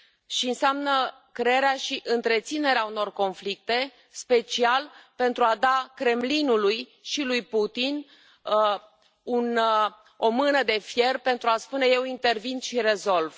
și înseamnă crearea și întreținerea unor conflicte intenționat pentru a da Kremlinului și lui Putin o mână de fier pentru a spune Eu intervin și rezolv